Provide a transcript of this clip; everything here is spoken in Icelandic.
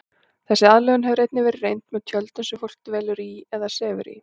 Þessi aðlögun hefur einnig verið reynd með tjöldum sem fólk dvelur í eða sefur í.